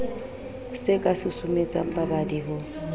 se ka susumetsang babadi ho